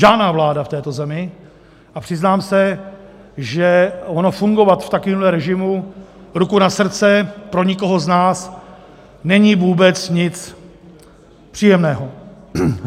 Žádná vláda v této zemi a přiznám se, že ono fungovat v takovémhle režimu, ruku na srdce, pro nikoho z nás není vůbec nic příjemného.